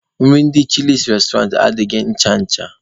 Nri ndị chịlịs restoranti adabaghị ncha ncha.